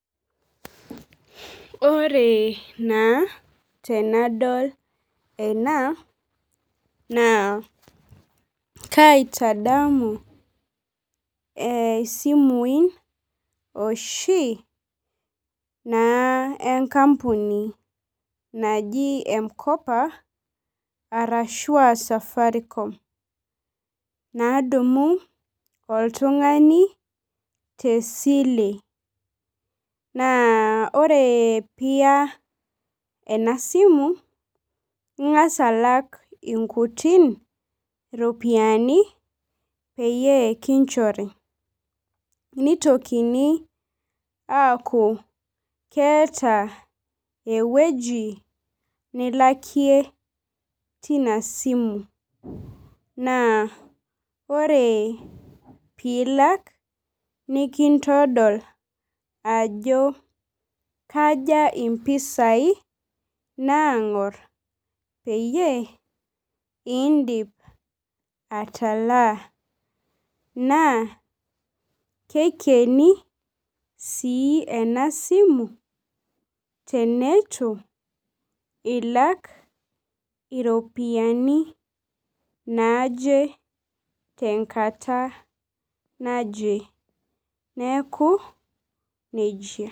Ore naa tenadol ena naa kaitadamun ee isimui oshi naa enkampuni naji mkopa ashua safaricom nadumu oltungani tesile . Naa ore piya oltungani enasimu, ingas alak inkuti ropiyiani peyie kinchori , nitokini aaku keeta ewueji nilakie tinasimu , naa ore pilak nikintodol ajo kaja impisai nangor peyie indip atalaa , naa keikieni sii enasimu teneitu ilak iropiyiani naje tenkata naje , neku nejia.